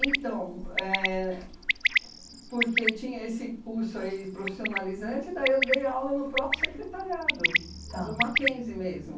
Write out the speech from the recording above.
Então, éh porque tinha esse curso aí profissionalizante, daí eu dei aula no próprio secretariado tá do Mackenzie mesmo.